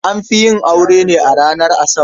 An fi yin aure ne ranar Asabar.